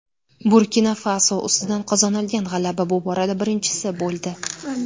Burkina-Faso ustidan qozonilgan g‘alaba bu borada birinchisi bo‘ldi.